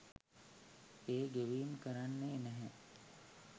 ඒ ගෙවීම් කරන්නෙ නැහැ.